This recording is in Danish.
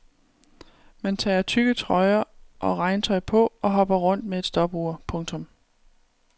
Man tager tykke trøjer og regntøj på og hopper rundt med et stopur. punktum